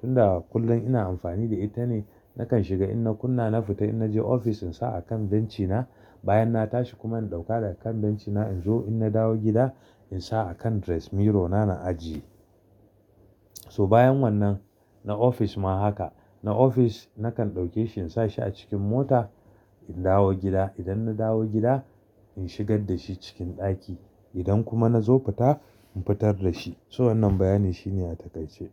Tunda kullum ina amfani da ita ne nakan shiga ina kunna na fita ina je ofis in sa a kan bencina bayan na tashi kuma in ɗauka da kan bencina in zo ina dawo gida in sa a kan dress mirror na, na ajiye. So bayan wannan na ofis ma haka. Na ofis nakan ɗauke shi in sa shi a cikin mota in dawo gida. Idan na dawo gida in shigar da shi cikin daki. Idan kuma na zo fita in fitar da shi. So wannan bayani shine a takaice.